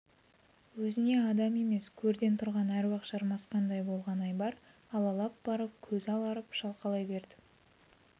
өзіне адам емес көрден тұрған әруақ жармасқандай болған айбар аллалап барып көзі аларып шалқалай берді